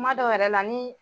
Kumadɔw yɛrɛ la ni